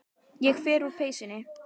Ég fer úr peysunni.